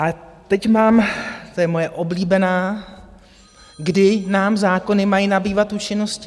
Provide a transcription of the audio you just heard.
A teď mám - to je moje oblíbená - kdy nám zákony mají nabývat účinnosti?